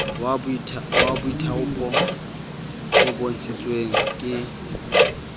wa boithaopi o bontshitsweng ke